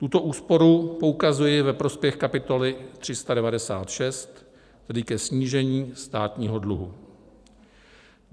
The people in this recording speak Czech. Tuto úsporu poukazuji ve prospěch kapitoly 396, tedy ke snížení státního dluhu.